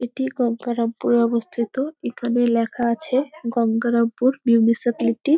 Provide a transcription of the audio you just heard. এটি গঙ্গারামপুরে অবস্থিত এখানে লেখা আছে গঙ্গারামপুর মুনিসিপলিটি ।